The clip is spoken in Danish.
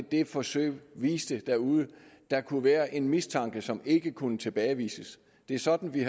det forsøg viste derude der kunne være en mistanke som ikke kunne tilbagevises det er sådan vi